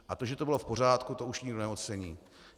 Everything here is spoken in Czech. A to, že to bylo v pořádku, to už nikdo neocení.